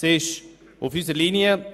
Sie liegt auf unserer Linie.